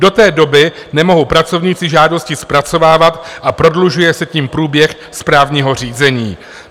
Do té doby nemohou pracovníci žádosti zpracovávat a prodlužuje se tím průběh správního řízení.